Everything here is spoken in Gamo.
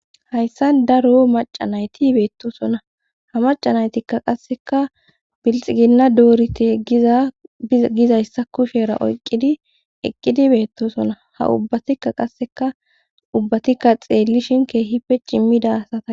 hayssa daro macanayti beettosona ha macanaytikka qasseka bilxiginna doorite giza gizayssa kushera oyqqidi eqqidi beettosona ha ubbatikka qasseka ubbatikka xeellishin keehipe cimmida asata